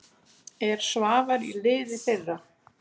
Er Svavar í liði þeirra?